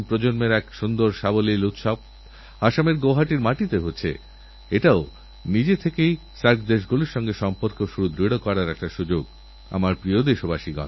ভারত ছাড়ো আন্দোলনের ৭৫ বছর এবং স্বাধীনতার ৭০ বছর আমাদের নতুন প্রেরণাদিতে পারে নতুন উৎসাহ যোগাতে পারে এবং দেশের জন্য ভালো কিছু করার সংকল্প নেওয়ারউপযুক্ত সময় হয়ে উঠতে পারে